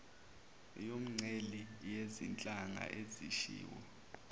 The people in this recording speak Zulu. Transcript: yomceli wezinhlanga ezishiwo